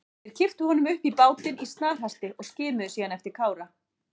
Þeir kipptu honum upp í bátinn í snarhasti og skimuðu síðan eftir Kára.